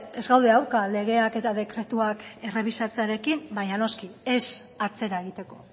ez gaude aurka legeak eta dekretuak errebisatzearekin baina noski ez atzera egiteko